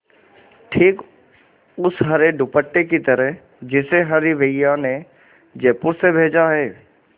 ठीक उस हरे दुपट्टे की तरह जिसे हरी भैया ने जयपुर से भेजा है